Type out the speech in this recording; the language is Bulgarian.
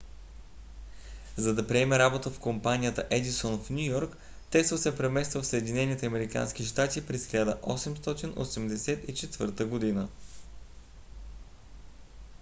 за да приеме работа в компанията едисон в ню йорк тесла се премества в съединените американски щати през 1884 година